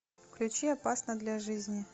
включи опасно для жизни